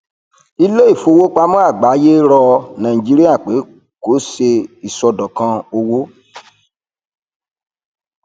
iléìfowópamọ àgbáyé rọ nigeria pé kó ṣe iṣọdọkan owó